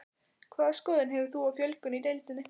Hvaða skoðun hefur þú á fjölgun í deildinni?